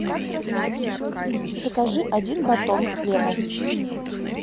закажи один батон хлеба